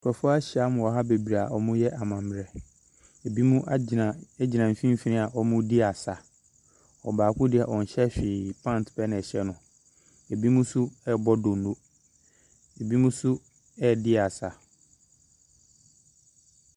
Nkurɔfo ahyiam wɔ ha bebree a wɔreyɛ amammerɛ. Ebinom agtina gyina mfimfini a wɔredi asa. Ɔbaako deɛ ɔnhyɛ hwee, pant pɛ ɛhyɛ no. ebinom nso rebɔ donno. Ebinom nso redi asa.